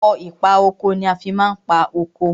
Ọkọ̀ ìpa oko ni a fi ma ń pa oko.